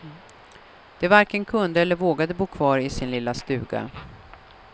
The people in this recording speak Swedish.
De varken kunde eller vågade bo kvar i sin lilla stuga.